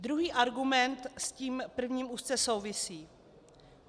Druhý argument s tím prvním úzce souvisí.